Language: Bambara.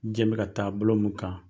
Jiɲɛ in bɛ ka taa bolo min kan.